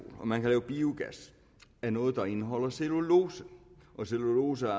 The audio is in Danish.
og man kan lave biogas af noget der indeholder cellulose og cellulose